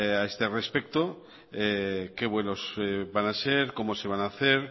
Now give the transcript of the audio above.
a este respecto qué vuelos van a ser cómo se van a hacer